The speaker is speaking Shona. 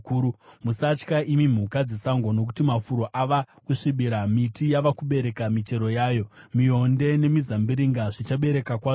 Musatya, imi mhuka dzesango, nokuti mafuro ava kusvibira. Miti yava kubereka michero yayo; mionde nemizambiringa zvichabereka kwazvo.